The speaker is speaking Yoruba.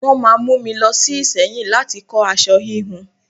Wọ́n máa mú mi lọ sí Ìsẹ́yìn láti kọ aṣọ híhun.